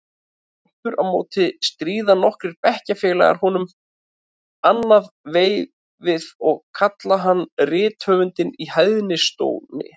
Aftur á móti stríða nokkrir bekkjarfélagar honum annað veifið og kalla hann rithöfundinn í hæðnistóni.